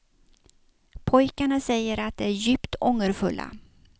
Pojkarna säger att de är djupt ångerfulla.